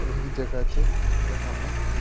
या वही जगह च जखम ए --